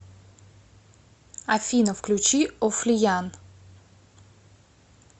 афина включи офлиян